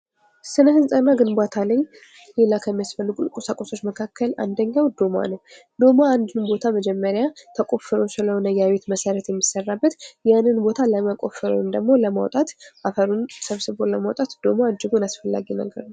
ስነ ሕንፃ እና ግንባታ ላይ ሌላ ከሚያስፈልጉን ቁሳቁሶች መካከል አንደኛዉ ዶማ ነዉ። ዶማ አንድን ቦታ መጀመሪያ ተቆፍሮ ስለሆነ መሰረት የሚሰራበት ያንን ቦታ ለመቆፈር ወንም ደግሞ ለማዉጣት አፈሩን ሰብስቦ ለማዉጣት ዶማ እጅጉን አስፈላጊ ነገር ነዉ።